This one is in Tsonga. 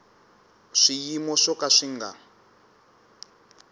swiyimo swo ka swi nga